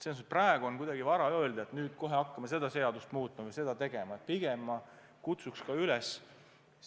Selles mõttes on praegu vara öelda, et nüüd kohe hakkame seadust muutma või midagi muud konkreetset tegema.